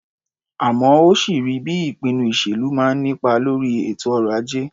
Àmọ́ ó sì rí bí ìpinnu ìṣèlú máa ń nípa lórí ètò ọrọ̀-ajé.